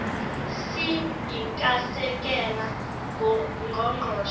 si iikasekela ngqongqoshe